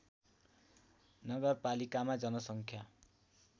नगरपालिकामा जनसङ्ख्या